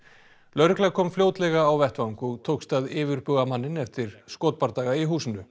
lögregla kom fljótlega á vettvang og tókst að yfirbuga manninn eftir skotbardaga í húsinu